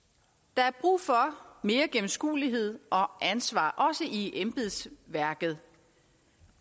der er brug for mere gennemskuelighed og ansvar også i embedsværket